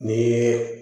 Ni